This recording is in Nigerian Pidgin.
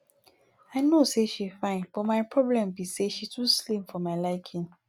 i no say she fine but my problem be say she too slim for my liking